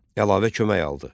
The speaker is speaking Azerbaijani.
Əlavə kömək aldı.